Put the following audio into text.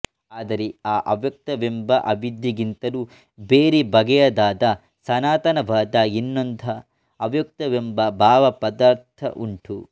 ಆದರೆ ಆ ಅವ್ಯಕ್ತವೆಂಬ ಅವಿದ್ಯೆಗಿಂತಲೂ ಬೇರೆ ಬಗೆಯದಾದ ಸನಾತನವಾದ ಇನ್ನೊಂದ ಅವ್ಯಕ್ತವೆಂಬ ಭಾವಪದಾರ್ಥ ಉಂಟು